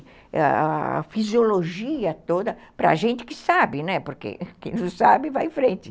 A fisiologia toda, para a gente que sabe, né, porque quem não sabe vai em frente.